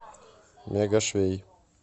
мега швей